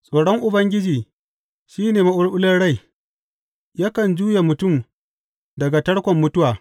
Tsoron Ubangiji shi ne maɓulɓular rai yakan juye mutum daga tarkon mutuwa.